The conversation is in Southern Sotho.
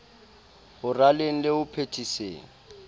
ho raleng le ho phethiseng